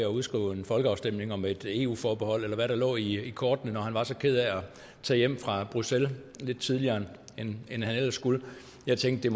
at udskrive en folkeafstemning om et eu forbehold eller hvad der lå i kortene når han var så ked af at tage hjem fra bruxelles lidt tidligere end han ellers skulle jeg tænkte